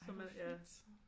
Ej hvor fint